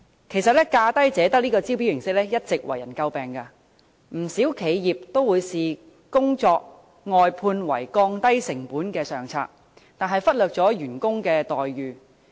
其實，"價低者得"的招標形式一直為人詬病，不少企業把工作外判視為降低成本的上策，但卻忽略員工的待遇。